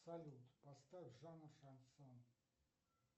салют поставь жанр шансон